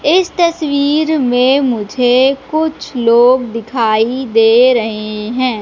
इस तस्वीर में मुझे कुछ लोग दिखाई दे रहे हैं।